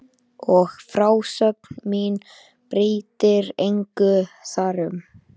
Og frásögn mín breytir engu þar um.